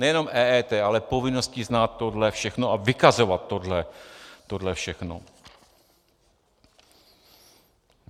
Nejenom EET, ale povinností znát tohle všechno a vykazovat tohle všechno.